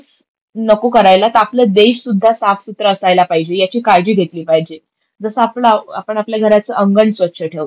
नको करायला, तर आपला देश सुद्धा साफ सुधरा असायला पहिजे, याची काळजी घेतली पाहिजे. जसं आपला आपण आपल्या घराचं अंगण स्वच्छ ठेवतो,